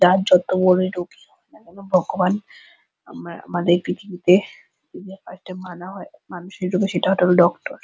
তা যত বড়োই রুগী হোক না কেন ভগবান আমারা আমাদের পৃথিবীতে যদি কাউকে মানা হয় মানুষের রূপে সেটা হলো ডক্টর ।